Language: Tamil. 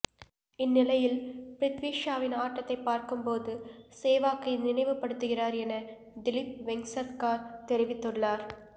இந்நிலையில் பிரித்வி ஷாவின் ஆட்டத்தை பார்க்கும்போது சேவாக்கை நினைவுப் படுத்துகிறார் என திலிப் வெங்சர்க்கார் தெரிவித்துள்ளார்